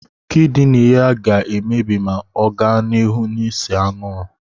Kịdịnị ya ga-emebi ma ọ ga n'ihu n'ịse anwụrụ